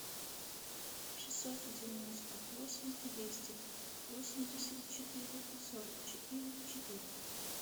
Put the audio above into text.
шестьсот девяносто восемь двести восемьдесят четыре сорок четыре четыре